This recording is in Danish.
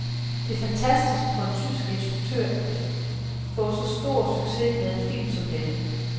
Det er fantastisk for en tysk instruktør at få så stor succes med en film som denne.